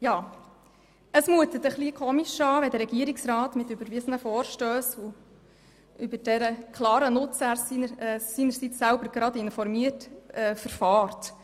» Es mutet etwas eigenartig an, wie der Regierungsrat mit überwiesenen Vorstössen, über deren klaren Nutzen er seinerseits informiert, verfährt.